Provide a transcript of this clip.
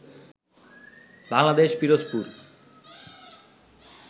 Bangladesh Pirojpur